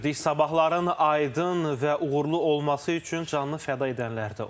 Sabahların aydın və uğurlu olması üçün canlı fəda edənlər də oldu.